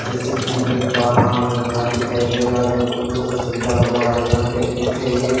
जैसे कि मैं देख पा रहा हूं एक घर दिखाई दे रहा है जो फूलों से सजा हुआ है घर के पीछे एक खेत दिखा--